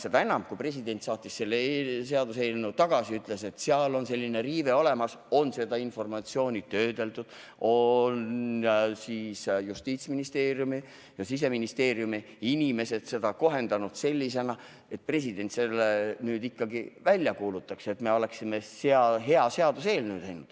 Seda enam, et pärast seda, kui president selle seaduseelnõu tagasi saatis ja ütles, et seal on selline riive, on seda informatsiooni töödeldud ning Justiitsministeeriumi ja Siseministeeriumi inimesed on seda kohendanud, et president selle seaduse nüüd ikkagi välja kuulutaks, sest me oleme teinud hea seaduseelnõu.